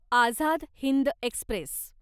Azad Hind Express